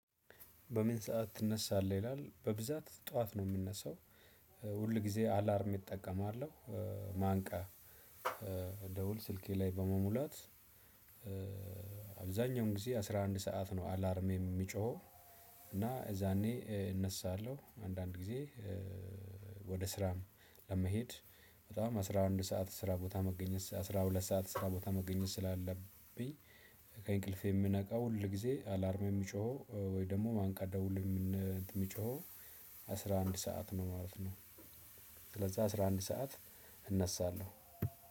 በምን ሰዓት ትነሳለህ? ይላል በብዛት ጠዋት ነው የምነሳው። ሁል ጊዜ አላርም እጠቀማለሁ። ማንቂያ ደወል ስልኬ ላይ በመሙላት። አብዛኛውን ጊዜ አስራ አንድ ሰዓት ነው አላርሜ የሚጮኸው። እና የዛኔ እነሳለሁ አንዳንድ ጊዜ። ወደ ስራም ለመሄድ በጣም አስራ አንድ ሰዓት ስራ ቦታ መገኘት አስራ ሁለት ሰዓት ስራ ቦታ መገኘት ስላለብኝ። ከእንቅልፌ የምነቃው ሁል ጊዜ አላርሜ የሚጮኸው ወይ ደግሞ ማንቂያ ደወል የሚጮኸው አስራ አንድ ሰዓት ነው ማለት ነው። ስለዛ አስራ አንድ ሰዓት እነሳለሁ።